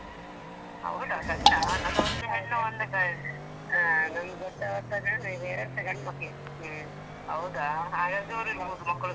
ಹೌದಾ ಗಂಡಾ ಹಾ ನಂದು ಒಂದ್ ಹೆಣ್ಣು ಒಂದ್ ಗಂ, ಹಾ ನಂದು ದೊಡ್ಡವಸಾ ಗ ಎರಡ್ ಸಾ ಗಂಡ್ ಮಕ್ಳೆ. ಹೌದಾ ಹಾಗಾದ್ರೆ ಮಕ್ಕಳು.